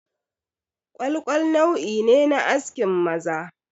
Ƙwalƙwal nau'i ne na askin maza